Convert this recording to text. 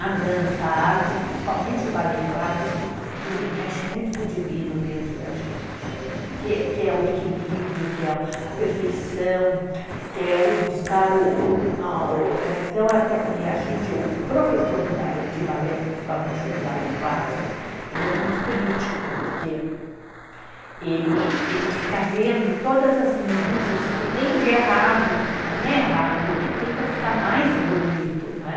a dança, a arte, principalmente o balé clássico, ele mexe muito com o divino dentro da gente, que é o equilíbrio, que é a perfeição, que é o buscar o... Então, até falei, a gente, o professor de balé, principalmente o de balé clássico, ele é muito crítico, porque ele fica vendo todas as minúcias, o que tem de errado, mas não é errado, o que tem para ficar mais bonito, não é?